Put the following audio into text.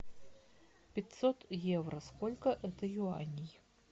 пятьсот евро сколько это юаней